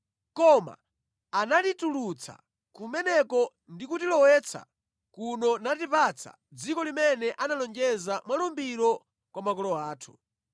Koma anatitulutsa kumeneko ndi kutilowetsa kuno natipatsa dziko limene analonjeza mwa lumbiro kwa makolo athu.